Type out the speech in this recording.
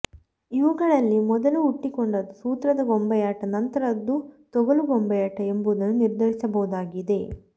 ಇವುಗಳಲ್ಲಿ ಮೊದಲು ಹುಟ್ಟಿಕೊಂಡದ್ದು ಸೂತ್ರದ ಗೊಂಬೆಯಾಟ ನಂತರದ್ದು ತೊಗಲುಗೊಂಬೆಯಾಟ ಎಂಬುದನ್ನು ನಿರ್ಧರಿಸಬಹುದಾಗಿದೆ